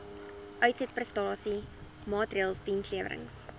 uitsetprestasie maatreëls dienslewerings